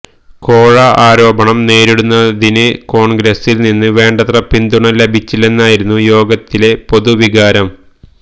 കോഴ ആരോപണം നേരിടുന്നതിന് കോണ്ഗ്രസില് നിന്ന് വേണ്ടത്ര പിന്തുണ ലഭിച്ചില്ലെന്നായിരുന്നു യോഗത്തിലെ പൊതുവികാരം